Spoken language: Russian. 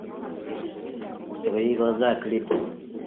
твои глаза клип